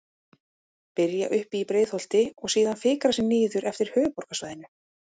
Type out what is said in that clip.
Byrja uppi í Breiðholti og síðan fikra sig niður eftir höfuðborgarsvæðinu.